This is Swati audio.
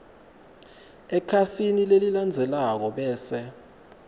ekhasini lelilandzelako bese